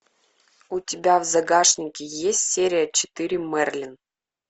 у тебя в загашнике есть серия четыре мерлин